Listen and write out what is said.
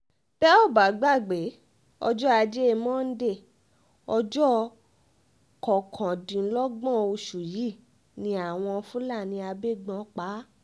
tẹ́ ò bá gbàgbé ọjọ́ ajé monde ọjọ́ kọkàndínlọ́gbọ̀n oṣù yìí ni àwọn fúlàní agbébọ́n pa